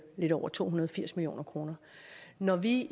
lidt over to hundrede og firs million kroner når vi